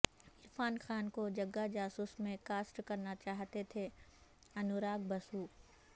عرفان خان کو جگا جاسوس میں کاسٹ کرنا چاہتے تھے انوراگ بسو